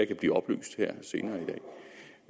kan blive oplyst her senere